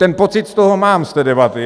Ten pocit z toho mám, z té debaty.